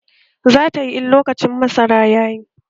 Zatayi in lokacin masara yayi